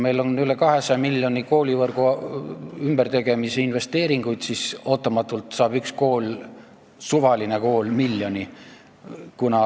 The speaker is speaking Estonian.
Meil on üle 200 miljoni koolivõrgu ümbertegemise investeeringuid, aga ootamatult saab üks suvaline kool miljoni.